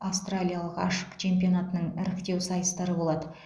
аустралия ашық чемпионатының іріктеу сайыстары болады